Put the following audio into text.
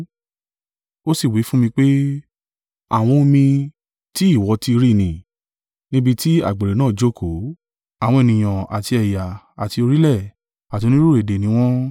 Ó sì wí fún mi pé, “Àwọn omi tí ìwọ ti rí ni, níbi tí àgbèrè náà jókòó, àwọn ènìyàn àti ẹ̀yà àti orílẹ̀ àti onírúurú èdè ni wọ́n.